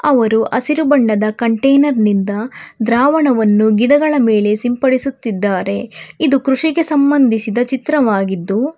ಅವರು ಹಸಿರು ಬಣ್ಣದ ಕಂಟೇನರ್ ನಿಂದ ದ್ರಾವಣವನ್ನು ಗಿಡಗಳ ಮೇಲೆ ಸಿಂಪಡಿಸುತ್ತಿದ್ದಾರೆ ಇದು ಕೃಷಿಗೆ ಸಂಬಂಧಿಸಿದ ಚಿತ್ರವಾಗಿದ್ದು.